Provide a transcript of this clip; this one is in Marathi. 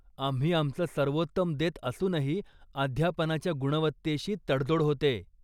आम्ही आमचं सर्वोत्तम देत असूनही अध्यापनाच्या गुणवत्तेशी तडजोड होतेय.